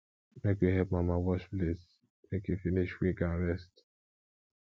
make we help mama wash plates make e finish quick and rest